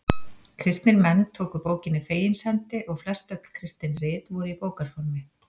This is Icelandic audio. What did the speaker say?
Kristnir menn tóku bókinni fegins hendi og flest öll kristin rit voru í bókarformi.